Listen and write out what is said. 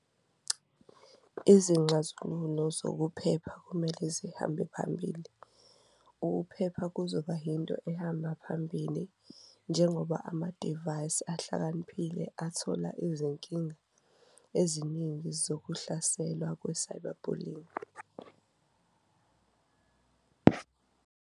Izinxazululo zokuphepha kumele zihambe phambili, ukuphepha kuzoba into ehamba phambili njengoba amadivayizi ahlakaniphile athola izinkinga eziningi zokuhlaselwa kwe-cyber bullying.